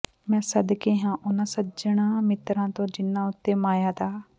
ਮੈਂ ਸਦਕੇ ਹਾਂ ਉਹਨਾਂ ਸੱਜਣਾਂ ਮਿੱਤਰਾਂ ਤੋਂ ਜਿੰਨ੍ਹਾਂ ਉਤੇ ਮਾਇਆ ਦਾ